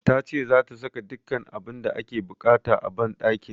Ta ce zata saka dukkan abin da ake buƙata a banɗakin